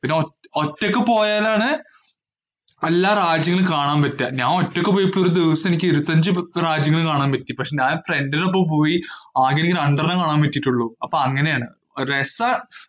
പിന്നെ ഒറ്റ ഒറ്റയ്ക്ക് പോയാലാണ് എല്ലാ രാജ്യങ്ങളും കാണാന്‍ പറ്റുക. ഞാന്‍ ഒറ്റയ്ക്ക് പോയപ്പം ഒരു ദിവസം എനിക്ക് ഇരുപത്തഞ്ചു മുപ്പത് രാജ്യങ്ങള്‍ കാണാന്‍ പറ്റി. പക്ഷേ ഞാന്‍ friend നൊപ്പം പോയി. ആകെ എനിക്ക് രണ്ടെണ്ണമേ കാണാന്‍ പറ്റിയിട്ടുള്ളൂ. അപ്പൊ അങ്ങനെയാണ്. ഒരു രസാ.